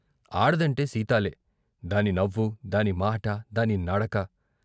ఆడదంటే సీతాలే దాని నవ్వు, దాని మాట, దాని నడక...